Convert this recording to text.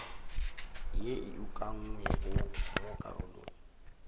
ye e ukangwego mo karolong